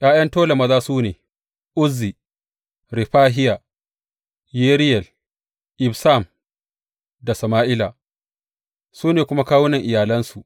’Ya’yan Tola maza su ne, Uzzi, Refahiya, Yeriyel, Ibsam da Sama’ila, su ne kuma kawunan iyalansu.